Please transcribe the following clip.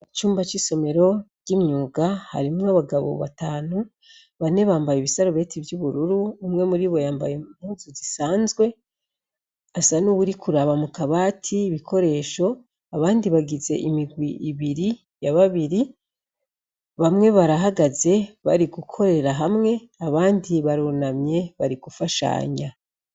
Icumba c'isomero ry'imyuga harimwo abagabo batanu bane bambaye ibisarubeti vy'ubururu umwe muri bo yambaye impuzu zisanzwe asa n'uwuri kuraba mu kabati ibikoresho abandi bagize imigwi ibiri ya babiri bamwe barahagaze bari gukorera hamwe abandi barunamye bari gufashanya.